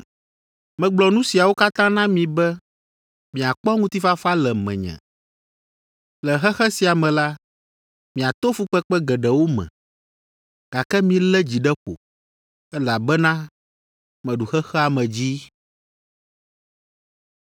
Megblɔ nu siawo katã na mi be miakpɔ ŋutifafa le menye. Le xexe sia me la, miato fukpekpe geɖewo me, gake milé dzi ɖe ƒo, elabena meɖu xexea me dzi.”